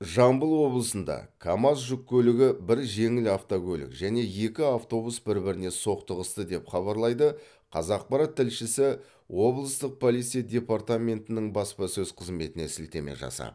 жамбыл облысында камаз жүк көлігі бір жеңіл автокөлік және екі автобус бір біріне соқтығысты деп хабарлайды қазақпарат тілшісі облыстық полиция департаментінің баспасөз қызметіне сілтеме жасап